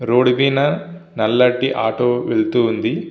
Road మిధ ఒక నల్లని ఆటో వేల్లుతువుంది.